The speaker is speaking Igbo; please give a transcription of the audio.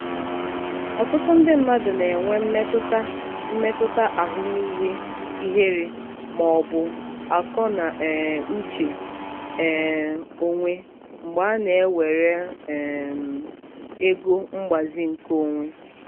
ọtụtụ ndị mmadụ na-enwe mmetụta mmetụta ahụmihe ihere ma ọ bụ akọ na um uche um onwe mgbe a na-ewere um ego mgbazi nke onwe.